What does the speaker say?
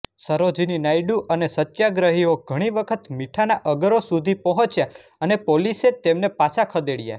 સરોજીની નાયડુ અને સત્યાગ્રહીઓ ઘણી વખત મીઠાના અગરો સુધી પહોંચ્યા અને પોલીસે તેમને પાછા ખદેડ્યા